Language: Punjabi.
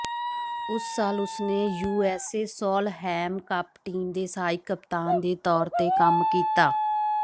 ਉਸ ਸਾਲ ਉਸਨੇ ਯੂਐਸ ਸੋਲਹੇਮ ਕੱਪ ਟੀਮ ਦੇ ਸਹਾਇਕ ਕਪਤਾਨ ਦੇ ਤੌਰ ਤੇ ਕੰਮ ਕੀਤਾ